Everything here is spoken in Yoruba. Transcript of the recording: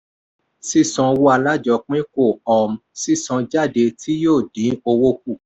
sísan owó alájọpín kó um sísanjáde tí yóò dín owó kù.